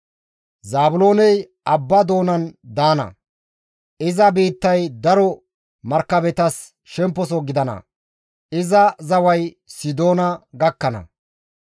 «Zaabilooney abba doonan daana; iza biittay daro markabetas shemposo gidana; iza zaway Sidoona gakkana.